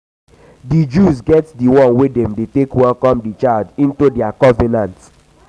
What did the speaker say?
di jews get the one wey dem de take welcome the child into their covenant